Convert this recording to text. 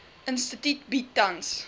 instituut bied tans